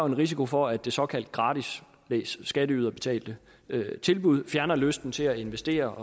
en risiko for at det såkaldte gratis læs skatteyderbetalte tilbud fjerner lysten til at investere